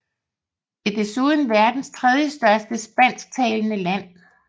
Det er desuden verdens tredjestørste spansktalende land